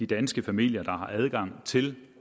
danske familier der har adgang til